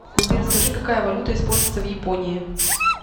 сбер скажи какая валюта используется в японии